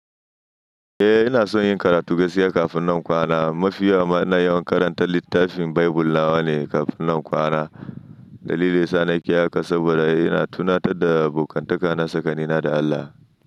Eh ina son yin karatu gaskiya kafin nan kwana. Mafi yawa ma ina yawan karanta littafin Baibul nawa ne kafin nan kwana. Dalili yasa nake haka saboda yana tunatar da abokantaka na sakani na da Allah.